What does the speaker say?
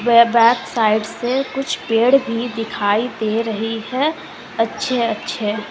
वे back side से कुछ पेड़ भी दिखाई दे रही है अच्छे अच्छे।